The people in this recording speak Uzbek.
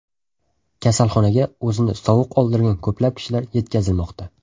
Kasalxonaga o‘zini sovuq oldirgan ko‘plab kishilar yetkazilmoqda.